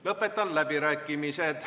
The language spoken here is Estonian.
Lõpetan läbirääkimised.